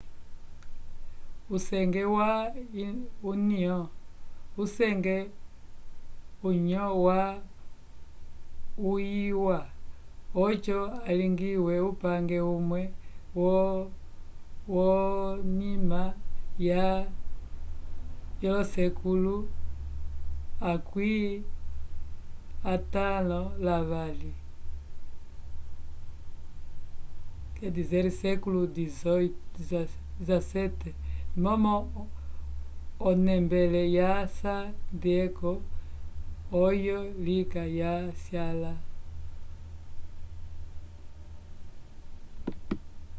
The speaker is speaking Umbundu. usenge ya union usenge ohu ya ungiwa oco alingiwe upange umwe ko nyima ya xvii momo onembele ya san diego oyo lika ya syala